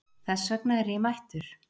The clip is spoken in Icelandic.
Þess vegna er ég mættur.